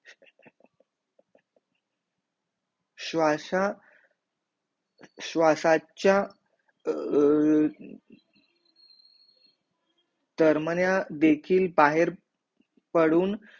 श्वासा श्वासाचा अह दरम्या देखील बाहेर पडून